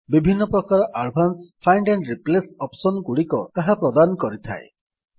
ବିଭିନ୍ନ ପ୍ରକାର advanced find and replace option ଗୁଡିକ ତାହା ପ୍ରଦାନ କରିଥାଏ